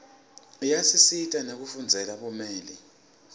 iyasisita nekufundzela bumeli